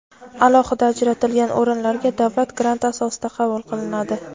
alohida ajratilgan o‘rinlarga davlat granti asosida qabul qilinadi.